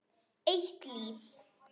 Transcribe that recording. Eitt líf.